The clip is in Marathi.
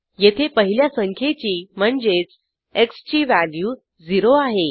येथे पहिल्या संख्येची म्हणजेच एक्स ची व्हॅल्यू 0 आहे